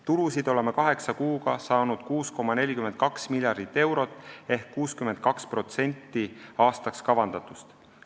Tulusid oleme kaheksa kuuga saanud 6,42 miljardit eurot ehk 62% aastaks kavandatust.